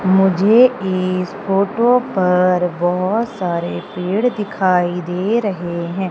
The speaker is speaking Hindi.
मुझे इस फोटो पर बहोत सारे पेड़ दिखाई दे रहे हैं।